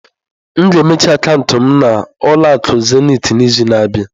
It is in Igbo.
M ga-emechi akaụntụ m na ụlọ akụ zenịtị n'izu na-abịa.